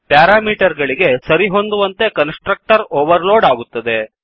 parameter ಗಳಿಗೆ ಸರಿಹೊಂದುವಂತೆ constructor overload ಆಗುತ್ತದೆ